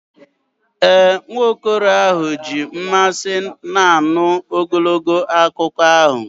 Ee, nwa okoro ahụ ji mmasị na-anụ ogologo akụkọ ahụ.